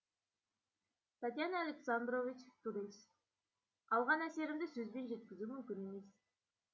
татьяна александрович турист алған әсерімді сөзбен жеткізу мүмкін емес